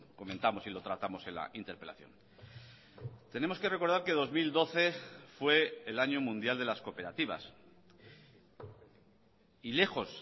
comentamos y lo tratamos en la interpelación tenemos que recordar que dos mil doce fue el año mundial de las cooperativas y lejos